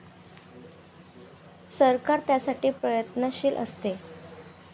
सरकार त्यासाठी प्रयत्नशील असते.